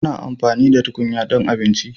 Ana amfani da tukunya don abinci,